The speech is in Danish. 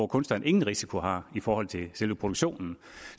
kunstneren ingen risiko har i forhold til selve produktionen